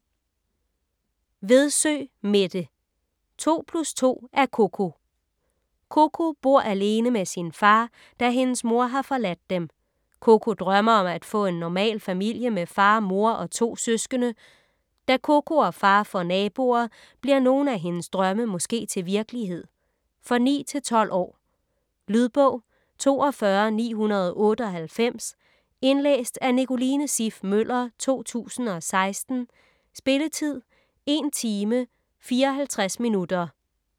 Vedsø, Mette: To plus to er Koko Koko bor alene med sin far, da hendes mor har forladt dem. Koko drømmer om at få en normal familie med far, mor og to søskende. Da Koko og far får naboer, bliver nogle af hendes drømme måske til virkelighed? For 9-12 år. Lydbog 42998 Indlæst af Nicoline Siff Møller, 2016. Spilletid: 1 timer, 54 minutter.